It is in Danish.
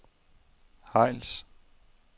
Hejls